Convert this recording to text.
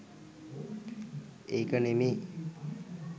ඒක නෙමේ